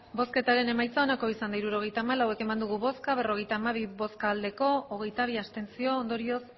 hirurogeita hamalau eman dugu bozka berrogeita hamabi bai hogeita bi abstentzio ondorioz